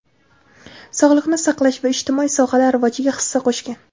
sog‘liqni saqlash va ijtimoiy sohalar rivojiga hissa qo‘shgan.